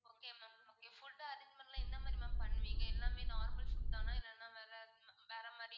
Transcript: okay ma'am okay food arrangement லாம் எந்த மாதிரி ma'am பண்ணுவீங்க? எல்லாமே normal food தானா இல்லனா வேற வேற மாதிரி